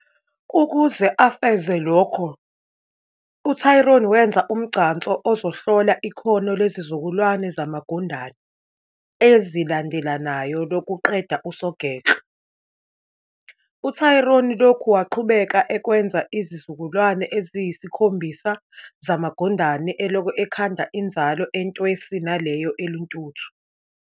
Ukuze afeze lokho, uTryon wenza umgcanso ozohlola ikhono lezizukulwane zamagundane ezilandalenayo lokuqeda usogekle. UTryon lokhu waqhubeka ekwenza izizukulwane eziyisikhombisa zamagundane, elokhu ekhanda inzalo "entwesi" naleyo "eluthuntu".